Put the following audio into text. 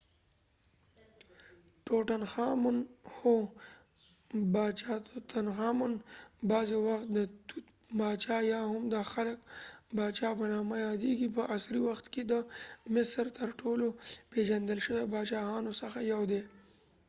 هو! باچاتوتنخامون tutankhamun ،بغضی وخت د توت باچا یا هم د هلک باچا په نامه یاديږی . په عصری وخت کې د مصر تر ټولو پیژندل شوي باچاهانو څخه یو دي